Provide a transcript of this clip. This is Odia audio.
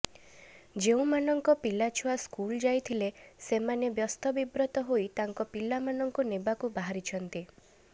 ଯେଉଁମାନଙ୍କ ପିଲାଛୁଆ ସ୍କୁଲ ଯାଇଥିଲେ ସେମାନେ ବ୍ୟସ୍ତବିବ୍ରତ ହୋଇ ତାଙ୍କ ପିଲାମାନଙ୍କୁ ନେବାକୁ ବାହାରିଛନ୍ତି